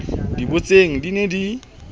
di butseng di ne di